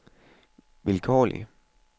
vilkårlig